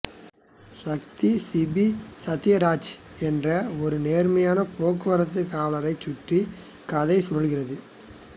சக்தி சிபி சத்யராஜ் என்ற ஒரு நேர்மையான போக்குவரத்து காவலரைச் சுற்றி கதை சுழல்கிறது